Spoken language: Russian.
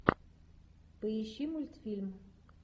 поищи мультфильм